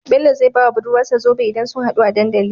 Bello zai bawa budurwar sa zobe idan sun hadu a dandali